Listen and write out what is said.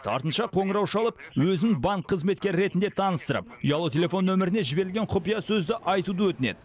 артынша қоңырау шалып өзін банк қызметкері ретінде таныстырып ұялы телефон нөміріне жіберілген құпиясөзді айтуды өтінеді